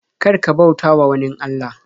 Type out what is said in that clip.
Kar ka bautawa wanin Allah.